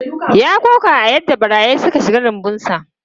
Ya koka da yadda barayi suka shiga rumbunsa.